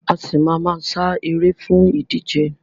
A ṣì máa ma sá eré fún ìdíje.